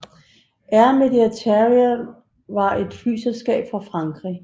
Air Méditerranée var et flyselskab fra Frankrig